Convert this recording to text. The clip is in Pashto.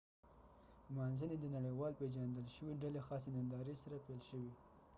نمانځنی د نړیوال پیژندل شوی ډلی خاصی ننداری سره پیل شوی